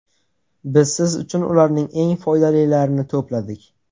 Biz siz uchun ularning eng foydalilarini to‘pladik.